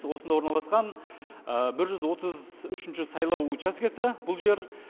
осында орналасқан бір жүз отыз үшінші сайлау учаскесі бұл жер